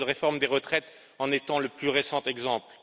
Le projet de réforme des retraites en est le plus récent exemple.